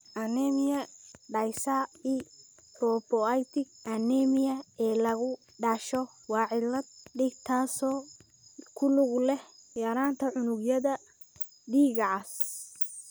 Anemia dyserythropoietic anemia ee lagu dhasho waa cillad dhiig taasoo ku lug leh yaraanta unugyada dhiigga cas.